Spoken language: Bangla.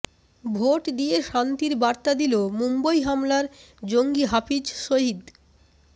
ভোট দিয়ে শান্তির বার্তা দিল মুম্বই হামলার জঙ্গি হাফিজ় সইদ